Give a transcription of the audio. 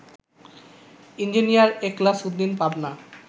engineer Ekhlas Uddin, Pabna